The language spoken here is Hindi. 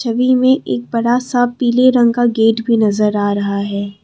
छवि में एक बड़ा सा पीले रंग का गेट भी नजर आ रहा है।